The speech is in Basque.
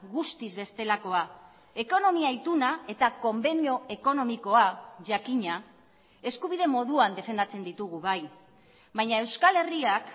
guztiz bestelakoa ekonomia ituna eta konbenio ekonomikoa jakina eskubide moduan defendatzen ditugu bai baina euskal herriak